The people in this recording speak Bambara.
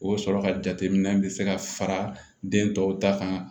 O sɔrɔ ka jateminɛ bɛ se ka fara den tɔw ta kan